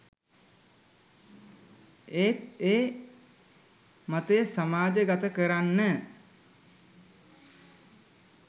ඒත් ඒ මතය සමාජ ගත කරන්න